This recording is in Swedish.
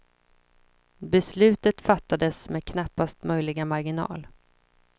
Beslutet fattades med knappast möjliga marginal.